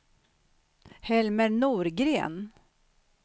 Helmer Norgren